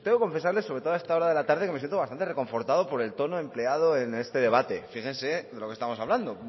confesarles sobre todo a esta hora de la tarde que me siento bastante reconfortado por el tono empleado en este debate fíjense de lo que estamos hablando